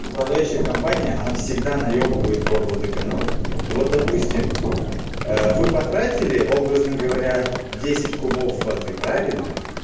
управляющая компания она всегда наебывают горводоканал вот допустим вы потратили образно говоря десять кубов воды правильно